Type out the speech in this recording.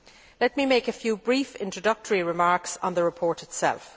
Let me make a few brief introductory remarks on the report itself.